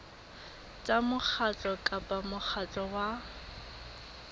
tsa mokgatlo kapa mokgatlo wa